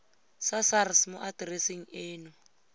sa sars mo atereseng eno